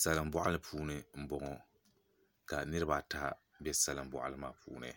Salin boɣali puuni n boŋo ka niraba ata bɛ salin boɣali maa puuni